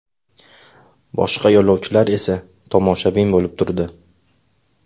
Boshqa yo‘lovchilar esa tomoshabin bo‘lib turdi.